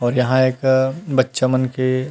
और यहाँ एक बच्चा मन के--